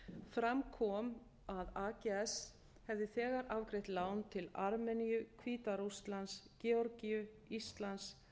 fram kom að ags hefði þegar afgreitt lán til armeníu hvíta rússlands georgíu íslands